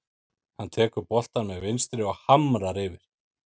Hann tekur boltann með vinstri og hamrar yfir.